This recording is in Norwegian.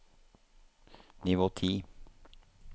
nivå ti